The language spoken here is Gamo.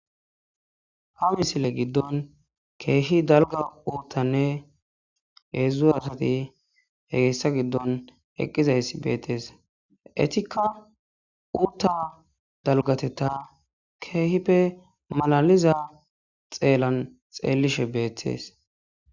Ha misile giddon keehi dalga uuttanne heedzdzu asati hegeessa giddon eqqizayss beettees etikka uutta dalgateta keehippe malaliza xeellan xeellishe beettees